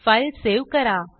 file save करा